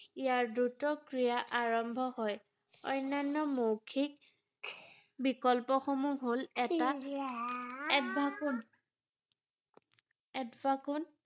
ইয়াৰ দ্ৰুত ক্ৰিয়া আৰম্ভ হয়৷ অনান্য মৌখিক বিকল্পসমূহ হ’ল এটা